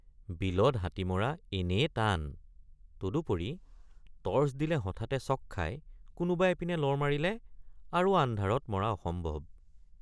বিলত হাতী মৰা এনেয়ে টান তদুপৰি টৰ্চ দিলে হঠাতে চক খাই কোনোবা এপিনে লৰ মাৰিলে আৰু আন্ধাৰত মৰা অসম্ভৱ।